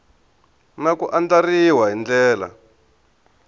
na ku andlariwa hi ndlela